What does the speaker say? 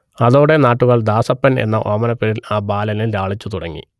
അതോടെ നാട്ടുകാർ ദാസപ്പൻ എന്ന ഓമനപ്പേരിൽ ആ ബാലനെ ലാളിച്ചു തുടങ്ങി